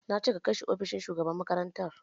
Na ce ka kai shi ofishin shugaban makarantar!